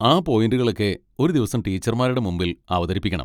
ആ പോയിന്റുകളൊക്കെ ഒരു ദിവസം ടീച്ചർമാരുടെ മുമ്പിൽ അവതരിപ്പിക്കണം.